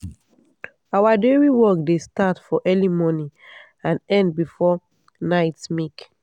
our dairy work dey start for early morning and end before night milk.